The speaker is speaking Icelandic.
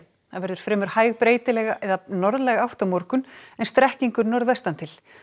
það verður fremur hæg breytileg eða norðlæg átt á morgun en strekkingur norðvestan til